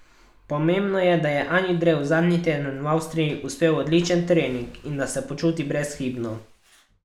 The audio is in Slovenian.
Pomembno je, da je Ani Drev zadnji teden v Avstriji uspel odličen trening in da se počuti brezhibno.